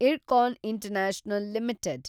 IRCON international limited